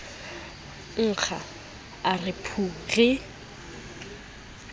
nkga a re phu ke